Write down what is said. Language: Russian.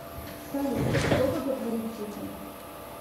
салют кто боготворит путина